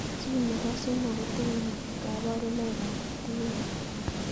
Chii nepo somok kotinye kaparunoik ab TARP